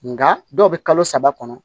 Nga dɔw bɛ kalo saba kɔnɔ